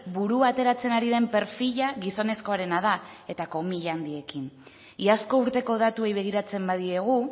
burua ateratzen ari den perfila gizonezkoarena da eta komila handiekin iazko urteko datuei begiratzen badiegu